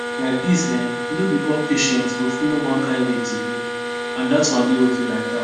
like this[um]no be all patients go follow one kind way to heal and dat one dey okay like that